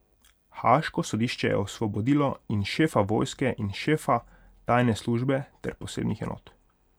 Haaško sodišče je osvobodilo in šefa vojske in šefa tajne službe ter posebnih enot.